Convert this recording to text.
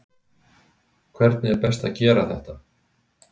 Hvernig er best að gera þetta?